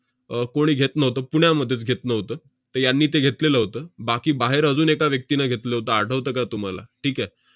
अह कोणी घेत नव्हतं, पुण्यामध्येच घेत नव्हतं. तर यांनी ते घेतलेलं होतं. बाकी बाहेर अजून एका व्यक्तीनं घेतलं होतं, आठवतं का तुम्हाला? ठीक आहे?